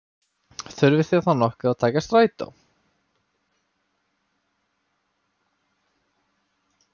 Þurfið þið þá nokkuð að taka strætó?